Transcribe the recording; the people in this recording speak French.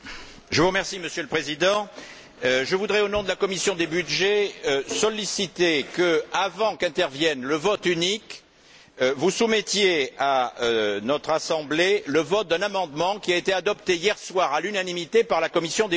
Monsieur le Président, je voudrais, au nom de la commission des budgets, solliciter que, avant qu'intervienne le vote unique, vous soumettiez à notre Assemblée le vote d'un amendement qui a été adopté hier soir à l'unanimité par la commission des budgets.